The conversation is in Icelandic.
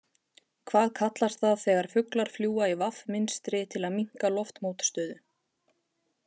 Hvað kallast það þegar fuglar fljúga í V mynstri til að minnka loftmótstöðu?